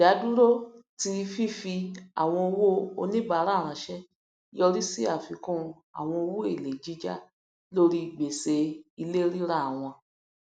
ìdadúró ti fífi àwọn owó oníbàárà ránṣẹ yọrí sí àfikún àwọn owó èléé jíjá lórí gbèsè ilé rírà wọn